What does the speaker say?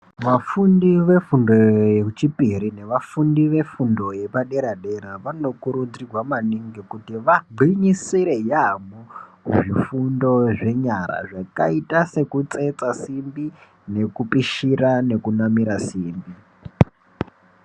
Vafundi vefundo yechipiri nevafundi vefundo yepadera-dera vanokurudzirwa maningi kuti vagwinyisire yaamho kuzvifundo zvenyara zvakaita sekutsetsa simbi nekupishira nekunamira simbi.